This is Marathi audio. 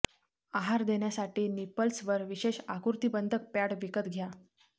आहार देण्यासाठी निपल्सवर विशेष आकृतिबंधक पॅड विकत घ्या